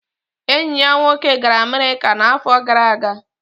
Enyi ya nwoke gara America n'afọ gara aga